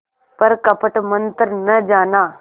पर कपट मन्त्र न जाना